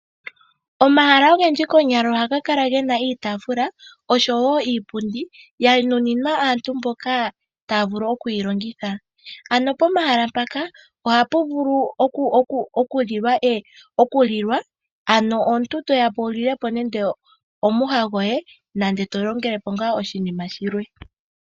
Omahala ogendji konyala ohaga kala gena iitafula oshowo iipundi ya nuninwa aantu mboka taya vulu oku yilongitha. Ano pomahala mpaka ohapu vulu oku lilwa ano omuntu toyapo wu lilepo nande omwiha goye nenge to longelepo ngaa oshinima shilwe.